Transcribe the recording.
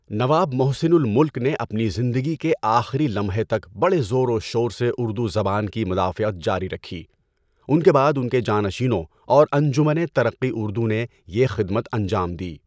نواب محسن الملک نے اپنی زندگی کے آخری لمحے تک بڑے زور و شور سے اردو زبان کی مدافعت جاری رکھی۔ اُن کے بعد اُن کے جانشینوں اور انجمنِ ترقّیٴ اُردو نے یہ خدمت انجام دی۔